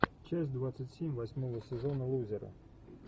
часть двадцать семь восьмого сезона лузеры